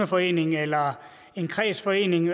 forening eller en kredsforening